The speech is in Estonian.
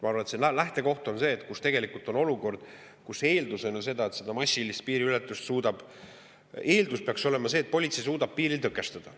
Ma arvan, et see lähtekoht on see, kus tegelikult on olukord, kus eeldatavasti politsei suudab seda massilist piiriületust tõkestada.